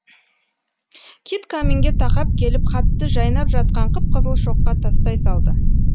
кит каминге тақап келіп хатты жайнап жатқан қып қызыл шоққа тастай салды